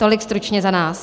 Tolik stručně za nás.